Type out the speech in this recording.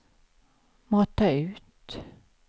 mata ut